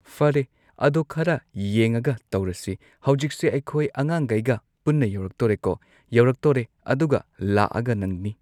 ꯐꯔꯦ ꯑꯗꯣ ꯈꯔ ꯌꯦꯡꯉꯒ ꯇꯧꯔꯁꯤ ꯍꯧꯖꯤꯛꯁꯦ ꯑꯩꯈꯣꯏ ꯑꯉꯥꯡꯒꯩꯒ ꯄꯨꯟꯅ ꯌꯧꯔꯛꯇꯣꯔꯦꯀꯣ ꯌꯧꯔꯛꯇꯣꯔꯦ ꯑꯗꯨꯒ ꯂꯥꯛꯑꯒ ꯅꯪꯅꯤ